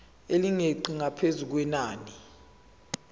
elingeqi ngaphezu kwenani